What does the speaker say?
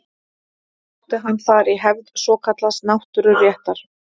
Sótti hann þar í hefð svokallaðs náttúruréttar.